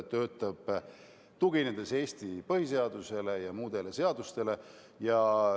Töötatakse Eesti põhiseadusele ja muudele seadustele tuginedes.